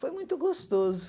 Foi muito gostoso.